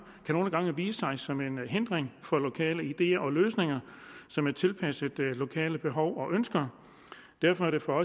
nogle gange vise sig som en hindring for lokale ideer og løsninger som er tilpasset lokale behov og ønsker derfor er det for